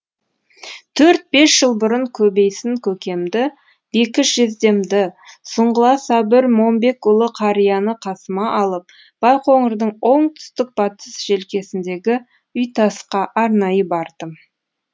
төрт бес жыл бұрын көбейсін көкемді бекіш жездемді сұңғыла сабыр момбекұлы қарияны қасыма алып байқоңырдың оңтүстікбатыс желкесіндегі үйтасқа арнайы бардым